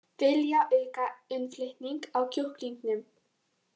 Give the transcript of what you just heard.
Vilja auka innflutning á kjúklingum